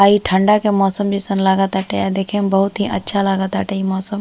आ इ ठंडा के मौसम जइसन लागताटे आ देखे में बहुत ही अच्छा लागताटे इ मौसम।